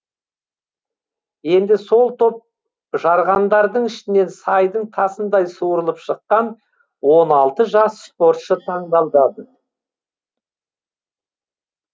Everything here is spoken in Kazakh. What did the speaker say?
енді сол топ жарғандардың ішінен сайдың тасындай суырылып шыққан он алты жас спортшы таңдалдады